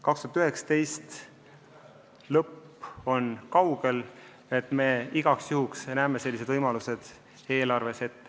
2019. aasta lõpp on kaugel, ent me igaks juhuks näeme sellised võimalused ette.